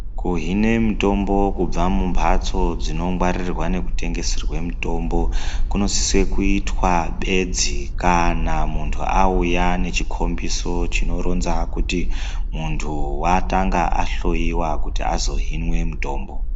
Kuhine mitombo kubva mumhatso dzinongwaririrwa nekutengeserwa mitombo. Kunosisa kuitwa bedzi kana muntu auya nechikombiso chinoronza kuti muntu vakanga ahloiwa kuti asazo hinwe mutombo.